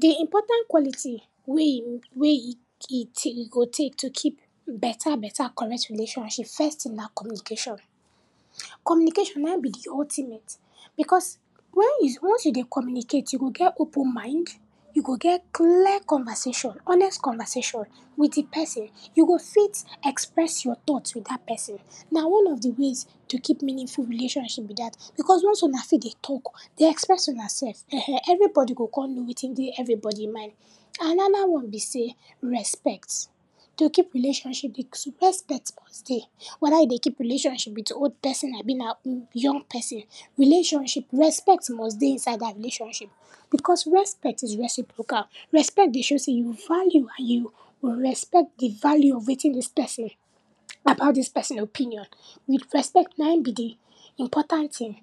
Di important quality wey e, wey e e ti go take to keep beta beta correct relationship, first tin na communication. Communication naim be di ultimate, bcos wen you, once you dey communicate you go get open mind, you go get clear conversation, honest conversation wit di person, you go fit express your tought wit dat person, na one of di ways to keep meaningful relationship be dat bcos once una fit dey talk, dey express una self, ehen, everybody go kon know wetin dey everybody mind. Anoda one be sey respect. To keep relationship, di two, respect must dey, weda e dey keep relationship wit old person abi na um, young person relationship, respect must dey inside dat relationship bcos respect is reciprocal. Respect dey show sey you value and you respect di value of wetin dis person about dis person opinion, wit respect naim be di important tin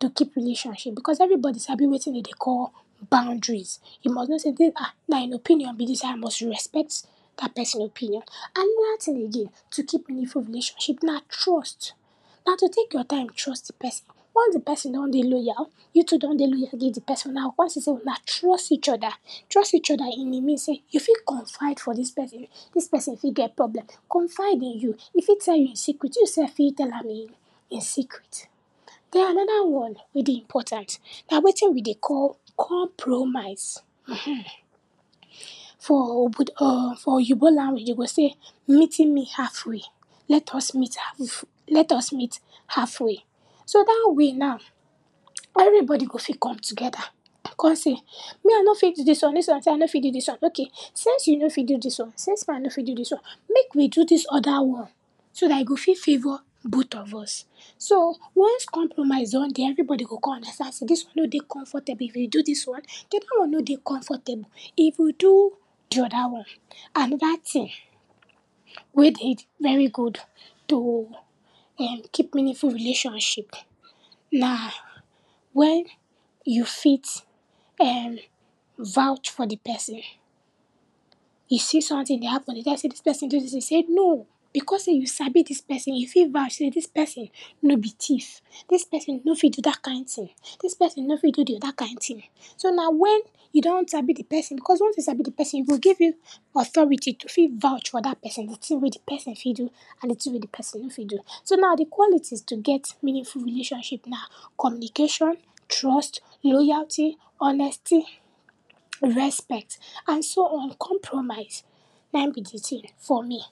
to keep relationship bcos everybody sabi wetin den dey call boundaries. You must know say dis, um, naim opinion be dis I must respect dat person opinion. Anoda tin again to keep meaningful relationship na trust, na to take your time trust person. Once di person don dey loyal, you too don dey loyal give di person, una go kon see sey una trust each oda, trust each oda in di mean sey, you fit confide for dis person, dis person fit get problem confide in you, e fit tell you e secret, you sef fit tell am e, e secret. Den, anoda one wey dey important na wetin we dey call compromise, um, for obodo, um for oyinbo language you go sey, meeting me half way, let us meet half, let us meet halfway. So, dat way now, everybody go fit come togeda kon sey, me I no fit do dis one, dis one sey I no fit do dis one, ok, since you no fit do dis one, since me I no fit do dis one, mek we do dis oda one so dat e go fi favour bot of us. So, once compromise don dey everybody go kon understand sey, dis one no dey comfortable, if e do dis one, di oda one no dey comfortable, if we do di oda one. Anoda tin wey dey very good to um keep meaningful relationship na wen you fit um vouch for di person. You see sometin dey happen, den tell you sey dis person do dis tin, you say no, bcos sey you sabi dis person, you fit vouch sey dis person no be tif, dis person no fit do dat kind tin, dis person no fit do di da kind tin. So na when e don sabi di person, bcos once you sabi di person, e go give you authority to fit vouch for dat person, di tin wey di person fit do and di tin wey di person no fit do. So, now di qualities to get meaningful relationship na communication, trust, loyalty, honesty, respect and so on, compromise, nai be di tin for me.